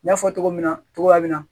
N y'a fɔ cogo min na cogoya min na